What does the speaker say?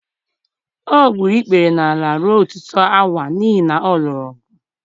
o gburu ikpere n’ala ruo ọtụtụ awa n’ihi na ọ lụrụ ọgụ.